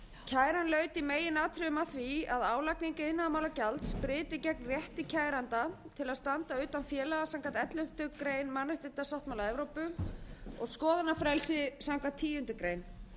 kæran laut í meginatriðum að því að álagning iðnaðarmálagjalds breyti gegn rétti kæranda til að standa utan félaga samkvæmt elleftu grein mannréttindasáttmála evrópu og skoðanafrelsi samkvæmt tíundu grein